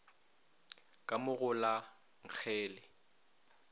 ka mo go la nngele